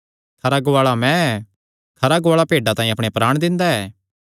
खरा गुआल़ा मैं ऐ खरा गुआल़ा भेड्डां तांई अपणे प्राण दिंदा ऐ